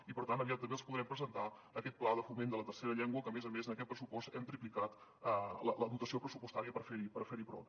i per tant aviat també els podrem presentar aquest pla de foment de la tercera llengua que a més a més en aquest pressupost hem triplicat la dotació pressupostària per fer hi front